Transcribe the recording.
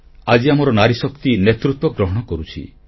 ଆଜି ଆମର ନାରୀଶକ୍ତି ନେତୃତ୍ୱ ଗ୍ରହଣ କରୁଛି